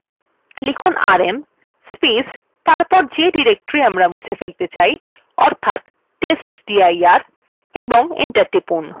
লিখুনrm এবং যে directory আমরা মুছে ফেলতে চাই অর্থাৎ testdir এবং enter টিপুন